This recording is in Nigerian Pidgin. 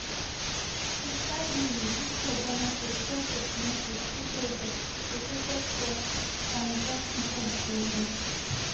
25 mins victor boniface fail to connect wit chukwueze deflected cross from just inside di area